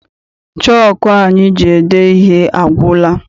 Chọku anyị ji ede ihe agwụla.